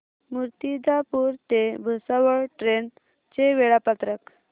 मूर्तिजापूर ते भुसावळ ट्रेन चे वेळापत्रक